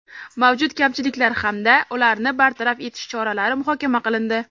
mavjud kamchiliklar hamda ularni bartaraf etish choralari muhokama qilindi.